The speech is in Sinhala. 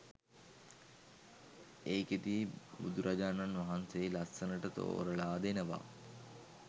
ඒකෙදි බුදුරජාණන් වහන්සේ ලස්සනට තෝරලා දෙනවා